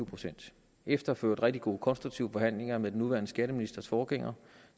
procent efter for øvrigt rigtig gode konstruktive forhandlinger med den nuværende skatteministers forgænger